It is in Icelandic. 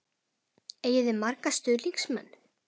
Eigið þið marga stuðningsmenn?